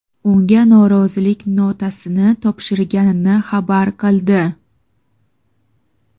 unga norozilik notasini topshirganini xabar qildi.